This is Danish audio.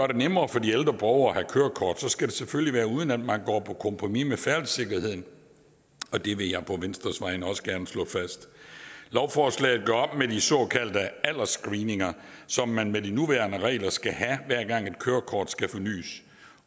det nemmere for de ældre borgere at have kørekort skal det selvfølgelig være uden at man går på kompromis med færdselssikkerheden og det vil jeg på venstres vegne også gerne slå fast lovforslaget gør op med de såkaldte aldersscreeninger som man med de nuværende regler skal have hver gang et kørekort skal fornys